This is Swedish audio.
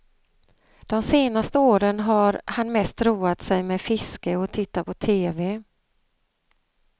De senaste åren har han mest roat sig med fiske och att titta på tv.